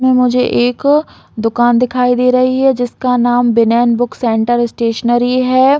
इसमें मुझे एक दुकान दिखाई दे रही है जिसका नाम विनय बुक सेंटर स्टेशनरी है।